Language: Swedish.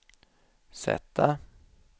sätta